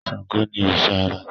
Ṣángó ni òrìṣà àrá